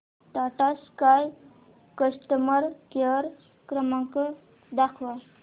Tata sky customer care क्रमांक दाखवा